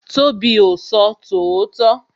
Tobi o sọ tòótọ́